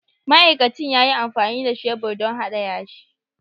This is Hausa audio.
Ma'aikacin ya yi amfani da shebur don hada yashi.